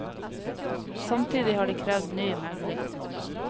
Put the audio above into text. Samtidig har de krevd ny megling.